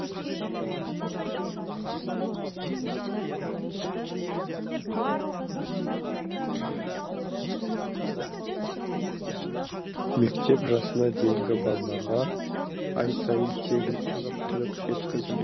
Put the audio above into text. мектеп жасына дейінгі балаларға ай сайын тегін азық түлік жеткізілед